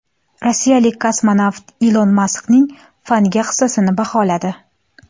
Rossiyalik kosmonavt Ilon Maskning fanga hissasini baholadi.